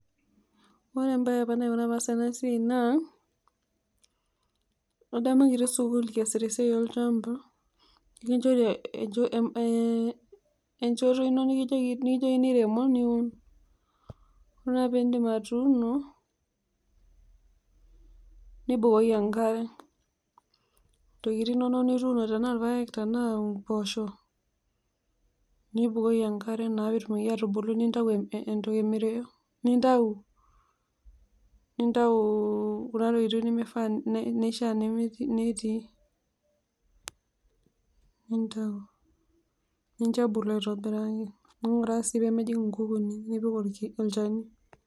Ore embae apa naikuna paas enasiai naa adamu kitii sukul kiasita esiai olchambai nikinchori ee echoto ino nikijokini rema, ore ake peindip atuuno nibukoki enkare , ntokitin inonok nituuono taanaa irpaek tanaa mboosho nibukuki enkare indipa atuuno asu nintau nintau kunatokitin nimeshaa netii, nintau nincho ebulu aitobiraki, ninguraa sii pemejing nkukuuni nipik olchani.